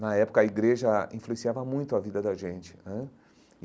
Na época, a igreja influenciava muito a vida da gente né.